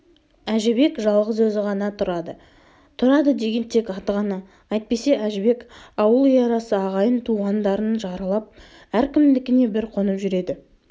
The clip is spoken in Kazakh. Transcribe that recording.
әжібек жалғыз өзі ғана тұрады тұрады деген тек аты ғана әйтпесе әжібек ауыл үй арасы ағайын-туғандарын аралап әркімдікіне бір қонып жүреді